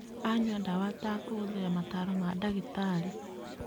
Anyua dawa atakũhũthĩra mataro ma dagĩtarĩ.